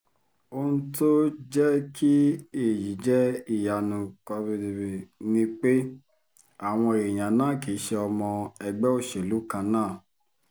ohun tó jẹ́ kí èyí jẹ́ ìyanu ni pé àwọn èèyàn náà kì í ṣe ọmọ ẹgbẹ́ òṣèlú kan náà